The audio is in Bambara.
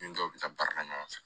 Ni dɔw bɛ taa baarakɛ ɲɔgɔn fɛ